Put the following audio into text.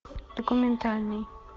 документальный